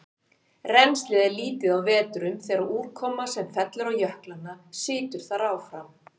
Rennslið er lítið á vetrum þegar úrkoma sem fellur á jöklana situr þar áfram.